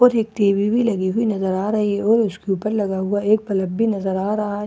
और एक टी_वी लगी हुई नजर आ रही है और उसके ऊपर लगा हुआ एक पलक भी नजर आ रहा है ।